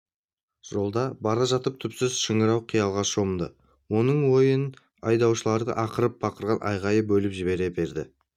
жолда бара жатып түпсіз шыңырау қиялға шомды оның ойын айдаушылардың ақырып-бақырған айқайы бөліп жібере берді